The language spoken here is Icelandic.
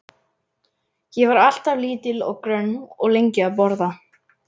Ég var alltaf lítil og grönn og lengi að borða.